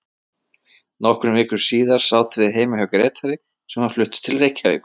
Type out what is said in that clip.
Nokkrum vikum síðar sátum við heima hjá Grétari sem var fluttur til Reykjavíkur.